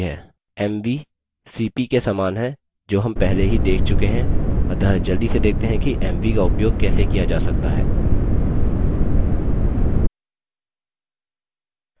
mv cp के समान है जो हम पहले ही देख चुके हैं अतः जल्दी से देखते हैं कि mv का उपयोग कैसे किया जा सकता है